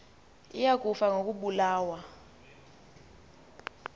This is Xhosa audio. iya kufa ngokobulawa